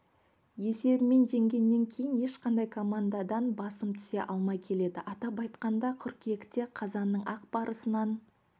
есебімен жеңгеннен кейін ешқандай командадан басым түсе алмай келеді атап айтқанда қыркүйекте қазанның ақ барысынан